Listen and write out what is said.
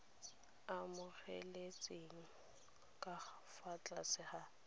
amogelesegile ka fa tlase ga